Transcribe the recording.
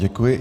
Děkuji.